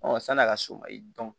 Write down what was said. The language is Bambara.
sɔni' a ka so ma i